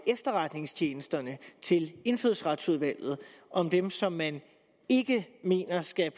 efterretningstjenesterne til indfødsretsudvalget om dem som man ikke mener skal